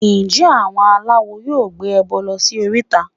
Ǹjẹ́ àwọn aláwo yóò gbé ẹbọ lọ sí oríta?